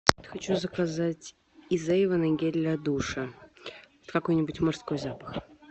хочу заказать из эйвона гель для душа какой нибудь мужской запах